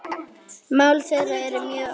Mál þeirra eru mjög ólík.